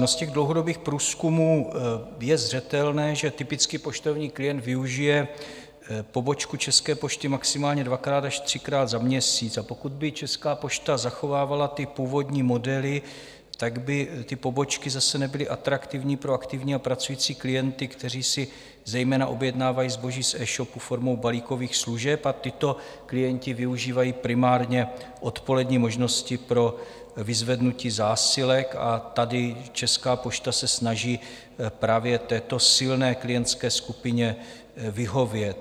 No, z těch dlouhodobých průzkumů je zřetelné, že typický poštovní klient využije pobočku České pošty maximálně dvakrát až třikrát za měsíc, a pokud by Česká pošta zachovávala původní modely, tak by ty pobočky zase nebyly atraktivní pro aktivní a pracující klienty, kteří si zejména objednávají zboží z e-shopu formou balíkových služeb, a tito klienti využívají primárně odpolední možnosti pro vyzvednutí zásilek, a tady Česká pošta se snaží právě této silné klientské skupině vyhovět.